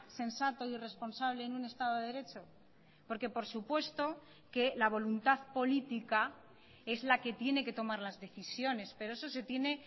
sensato y responsable en un estado de derecho porque por supuesto que la voluntad política es la que tiene que tomar las decisiones pero eso se tiene